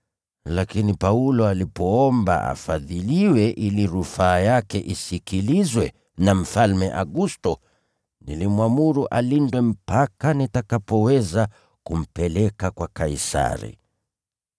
Lakini Paulo alipoomba afadhiliwe ili rufaa yake isikilizwe na Mfalme Agusto, nilimwamuru alindwe mpaka nitakapoweza kumpeleka kwa Kaisari.”